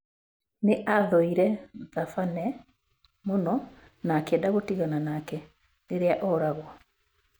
Nĩ aathũire Thabane mũno na akĩenda gũtigana nake rĩrĩa oragwo.